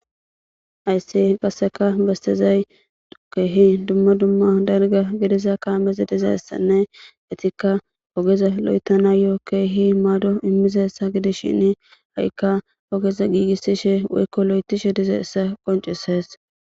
Hayssi qasseka bastezay keehi dumma dumma dalgga gidiza kaamezi dizayissanne etikka ogeza lo7etanayo keehi maado immizessa gidishshini hayikka ogeza giigissishe woykko lo7etishe diza issa qoncisees.